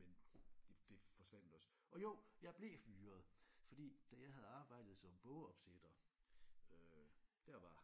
jeg ikke sikker på men det det forsvandt også og jo jeg blev fyret fordi da jeg havde arbejdet som bogopsætter øh der var